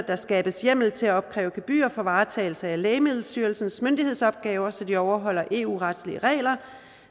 der skabes hjemmel til at opkræve gebyr for varetagelse af lægemiddelstyrelsens myndighedsopgaver så de overholder eu retlige regler